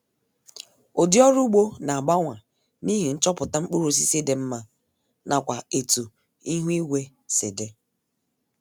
Udi ọrụ ụgbo na-agbanwa n' ihi nchọpụta mkpụrụosisi dị mma nakwa etu ihuigwe si dị